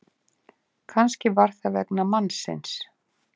Kannski var það vegna mannsins.